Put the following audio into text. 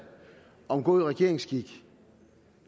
om god regeringsskik